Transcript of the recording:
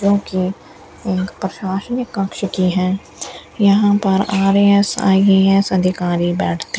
जो की एक प्रशासनिक कक्ष की है यहां पर आर_ए_एस आई_ए_एस अधिकारी बैठते --